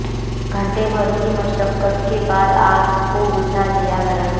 घंटे भर की मशक्कत के बाद आग को बुझा लिया गया